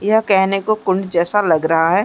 यह कहने को कुंड जैसा लग रहा है।